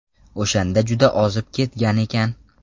O‘shanda juda ozib ketgan ekan.